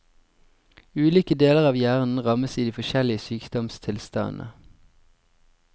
Ulike deler av hjernen rammes i de forskjellige sykdomstilstandene.